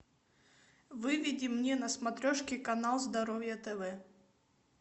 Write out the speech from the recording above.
выведи мне на смотрешке канал здоровье тв